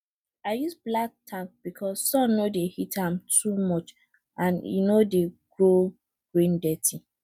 i use black tank because sun no dey heat am too much and e no grow green dirty